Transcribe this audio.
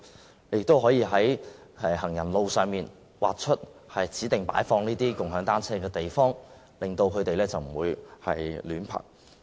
政府亦可以在行人路上劃出指定擺放"共享單車"的地方，以免人們隨處停泊單車。